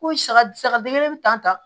Ko saga saga den kelen bɛ tan